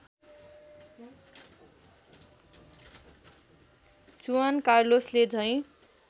जुआन कार्लोसले झैं